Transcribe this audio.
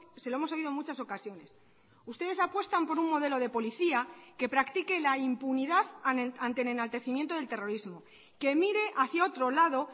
se lo hemos oído en muchas ocasiones ustedes apuestan por un modelo de policía que practique la impunidad ante el enaltecimiento del terrorismo que mire hacia otro lado